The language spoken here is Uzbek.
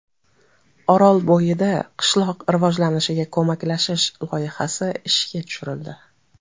Orolbo‘yida qishloq rivojlanishiga ko‘maklashish loyihasi ishga tushirildi.